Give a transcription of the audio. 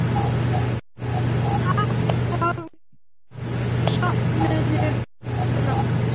Takk og sofðu rótt.